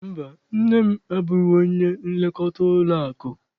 Mba, nne m abụghị onye nlekọta ụlọakụ.